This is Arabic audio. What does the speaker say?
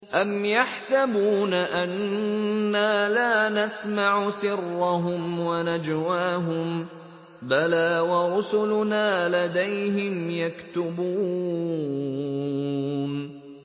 أَمْ يَحْسَبُونَ أَنَّا لَا نَسْمَعُ سِرَّهُمْ وَنَجْوَاهُم ۚ بَلَىٰ وَرُسُلُنَا لَدَيْهِمْ يَكْتُبُونَ